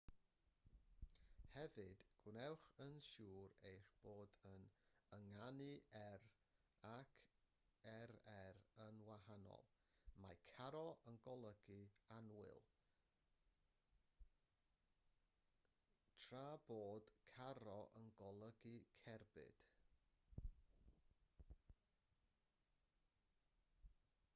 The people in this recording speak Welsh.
hefyd gwnewch yn siŵr eich bod yn ynganu r ac rr yn wahanol mae caro yn golygu annwyl tra bod carro yn golygu cerbyd